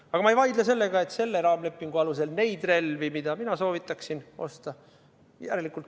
Aga ma ei vaidle vastu, et selle raamlepingu alusel neid relvi, mida mina soovitaksin osta, ei saa osta.